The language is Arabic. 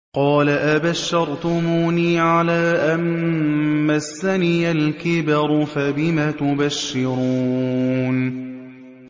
قَالَ أَبَشَّرْتُمُونِي عَلَىٰ أَن مَّسَّنِيَ الْكِبَرُ فَبِمَ تُبَشِّرُونَ